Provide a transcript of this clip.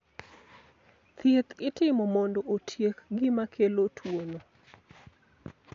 Thieth itimo mondo otiek gima kelo tuwono.